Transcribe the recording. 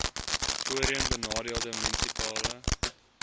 voorheen benadeelde munisipale